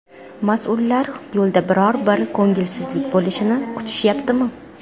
Mas’ullar yo‘lda biror bir ko‘ngilsizlik bo‘lishini kutishyaptimi?